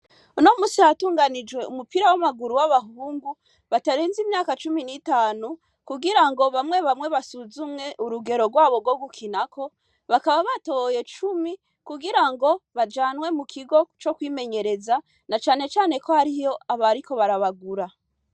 No musi hatunganijwe umupira w'amaguru w'abahungu batarenze imyaka cumi n'itanu kugira ngo bamwe bamwe basuzumwe urugero rwabo rwo gukinako bakaba batoye cumi kugira ngo bajanwe mu kigo co kwimenyereza na canecane ko hariyo abariko barabagura.